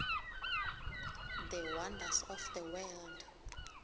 the wonders of the world